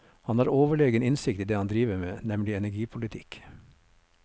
Han har overlegen innsikt i det han driver med, nemlig energipolitikk.